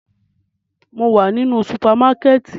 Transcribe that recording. Mo wa ninu supamakẹti